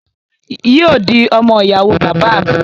Yóò di ọmọ ìyàwó bàbá à mi